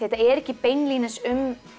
þetta er ekki beinlínis um